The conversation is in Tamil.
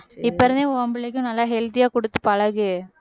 இப்ப இருந்தே உன் பிள்ளைக்கும் நல்லா healthy யா குடுத்து பழகு